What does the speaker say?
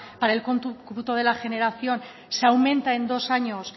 para el cómputo de la generación se aumenta en dos años